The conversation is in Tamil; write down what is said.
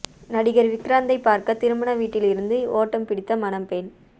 நடிகர் விக்ராந்தை பார்க்க திருமண வீட்டில் இருந்து ஓட்டம் பிடித்த மணப்பெண்